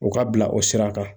U ka bila o sira kan